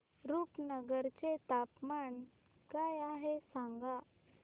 रुपनगर चे तापमान काय आहे सांगा